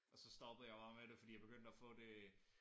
Og så stoppede jeg bare med det fordi jeg begyndte at få det